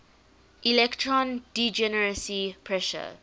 electron degeneracy pressure